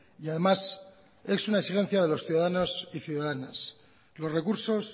y además es una exigencia de los ciudadanos y ciudadanas los recursos